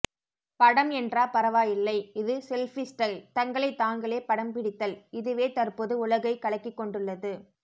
படம் என்றா பரவாயில்லை இது செல்பி ஸ்டைல் தங்களை தாங்களே படம் பிடித்தல் இதுவே தற்போது உலகை கலக்கி கொண்டுள்ளது